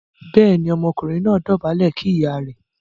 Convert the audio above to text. béèni Ọmọkùnrin náà dobale kí ìyá rẹ̀.